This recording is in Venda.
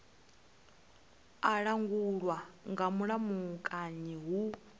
a langulwa nga mulamukanyi hu